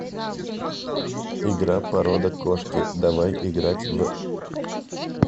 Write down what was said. игра порода кошки давай играть в